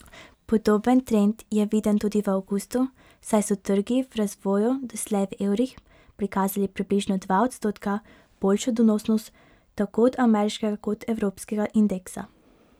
Podoben trend je viden tudi v avgustu, saj so trgi v razvoju doslej v evrih prikazali približno dva odstotka boljšo donosnost tako od ameriškega kot od evropskega indeksa.